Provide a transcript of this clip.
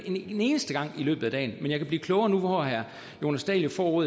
en eneste gang i løbet af dagen men jeg kan blive klogere nu hvor herre jonas dahl jo får